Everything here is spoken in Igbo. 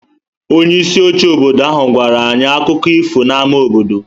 Onye isi oche obodo ahụ gwara anyị akụkọ ifo n'ámá obodo.